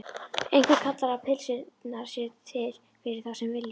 Einhver kallar að pylsurnar séu til fyrir þá sem vilja.